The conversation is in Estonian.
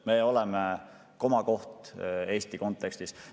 Meie oleme komakoht Euroopa kontekstis.